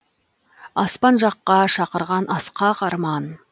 аспан жаққа шақырған асқақ арман